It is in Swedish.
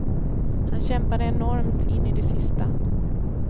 Han kämpade enormt in i det sista.